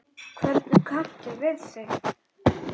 Hvernig kanntu við þig?